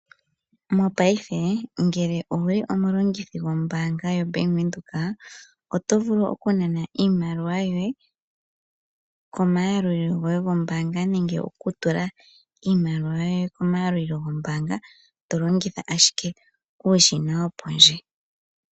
Mopaife ngele owu li omulongithi gwombaanga yoBank Windhoek, oto vulu okunana iimaliwa yoye komayalulilo goye gombaanga ,nenge okutula iimaliwa yoye komayalulilo gombaanga to longitha ashike uushina wo pondje.